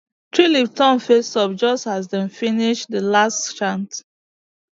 tree leaf turn face up just as dem finish the last chant